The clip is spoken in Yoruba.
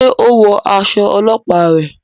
Ṣe o wọ aṣọ ọlọpa rẹ?